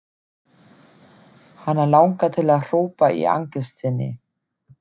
Hana langar til að hrópa í angist sinni.